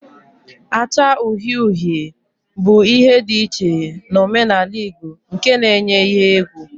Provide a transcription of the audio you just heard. acha uhie uhie bu ihe di iche na omenala igbo nke na-enye ihe egwu